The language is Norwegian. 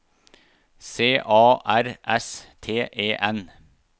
C A R S T E N